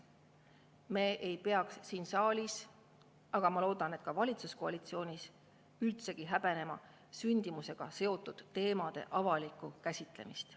Me ei peaks siin saalis, aga ma loodan, et ka valitsuskoalitsioonis üldsegi häbenema sündimusega seotud teemade avalikku käsitlemist.